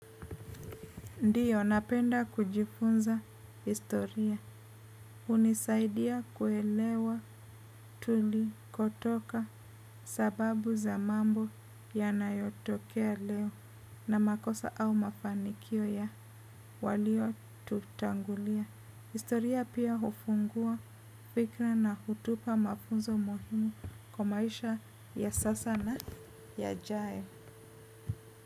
Ndiyo, napenda kujifunza historia. Hunisaidia kuelewa tulikotoka sababu za mambo yanayotokea leo na makosa au mafanikio ya waliotutangulia. Historia pia hufungua fikra na hutupa mafunzo muhimu kwa maisha ya sasa na ya yajao.